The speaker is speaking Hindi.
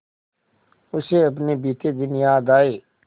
उसे अपने बीते दिन याद आए